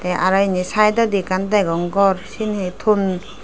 tey araw indi sydodi ekkan degong gor siyen hee ton.